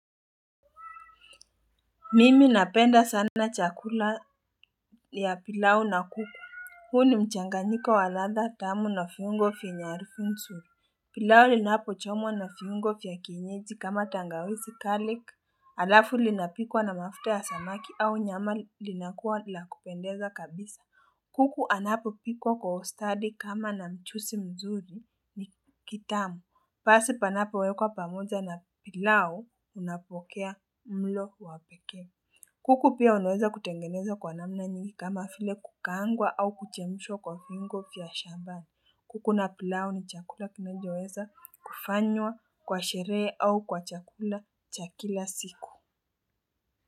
Mimi napenda sana chakula ya pilau na kuku. Huu ni mchanganyiko wa ladha tamu na viungo vyenye harufu nzuri. Pilau linapochomwa na viungo vya kienyeji kama tangawizi garlic. Alafu linapikwa na mafuta ya samaki au nyama linakuwa la kupendeza kabisa. Kuku anapopikwa kwa ustadi kama na mchuzi mzuri ni kitamu. Pasi panapowekwa pamoja na pilau unapokea mlo wa pekee. Kuku pia anaweza kutengeneza kwa namna nyingi kama vile kukaangwa au kuchemshwa kwa viungo vya shamba. Kuku na pilau ni chakula kinachoweza kufanywa kwa sherehe au kwa chakula cha kila siku.